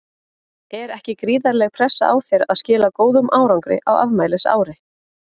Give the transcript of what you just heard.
Er ekki gríðarleg pressa á þér að skila góðum árangri á afmælisári?